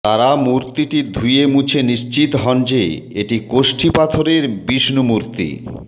তারা মূর্তিটি ধুয়ে মুছে নিশ্চিত হন যে এটি কষ্টি পাথরের বিষ্ণু মূর্তি